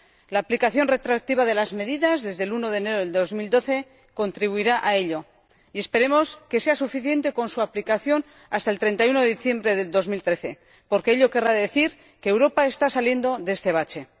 La aplicación retroactiva de las medidas, desde el 1 de enero de 2012, contribuirá a ello, y esperemos que sea suficiente con su aplicación hasta el 31 de diciembre de 2013, porque ello querrá decir que Europa está saliendo de este bache.